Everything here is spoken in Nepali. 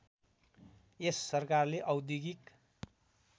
यस सरकारले औद्योगिक